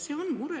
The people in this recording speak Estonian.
See on mure.